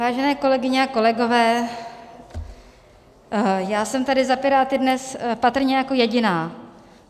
Vážené kolegyně a kolegové, já jsem tady za Piráty dnes patrně jako jediná.